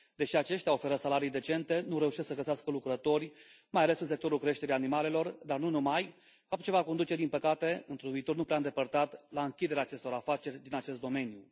Deși aceștia oferă salarii decente, nu reușesc să găsească lucrători, mai ales în sectorul creșterii animalelor, dar nu numai, fapt ce va conduce din păcate într un viitor nu prea îndepărtat la închiderea acestor afaceri din acest domeniu.